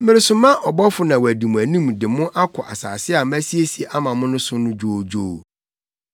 “Meresoma ɔbɔfo na wadi mo anim de mo akɔ asase a masiesie ama mo no so dwoodwoo.